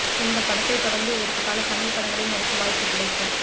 இந்தப் படத்தைத் தொடர்ந்து இவருக்கு பல தமிழ் படங்களில் நடிக்க வாய்ப்புக் கிடைத்தும்